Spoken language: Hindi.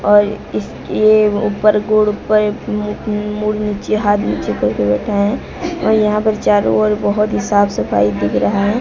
और इसके ऊपर गोड ऊपर म मुड नीचे हाथ नीचे करके बैठा है और यहां पे चारों ओर बहोत ही साफ सफाई दिख रहा है।